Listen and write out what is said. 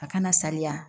A kana saliya